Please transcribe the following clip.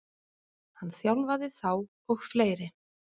Hann þjálfaði þá og fleiri.